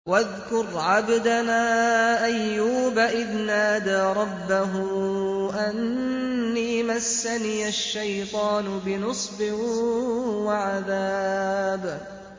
وَاذْكُرْ عَبْدَنَا أَيُّوبَ إِذْ نَادَىٰ رَبَّهُ أَنِّي مَسَّنِيَ الشَّيْطَانُ بِنُصْبٍ وَعَذَابٍ